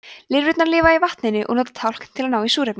lirfurnar lifa í vatninu og nota tálkn til að ná í súrefni